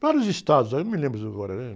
Vários estados aí, eu não me lembro isso agora, né?